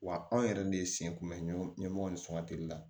Wa anw yɛrɛ de sen kun bɛ ɲɛmɔgɔ ni sɔn ka teli